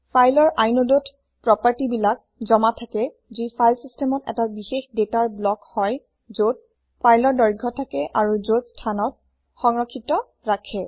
ফাইলৰ inodeত প্ৰপাৰ্টি বিলাক জমা থাকে যি ফাইল চিচটেমত এটা বিষেশ দাতাৰ ব্লক হয় যত ফাইলৰ দৈৰ্ঘ্য থাকে আৰু যত স্থানত সংৰক্ষিত ৰাখে